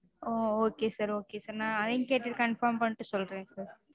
ஓ okay sir okay sir. நா அதையும் கேட்டுட்டு confirm பண்ணிட்டு சொல்றேன் sir.